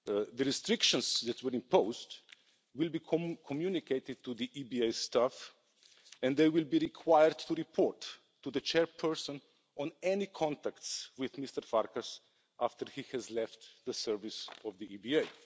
The restrictions that were imposed will be communicated to the EBA staff and they will be required to report to the Chairperson on any contacts with Mr Farkas after he has left the service of the EBA.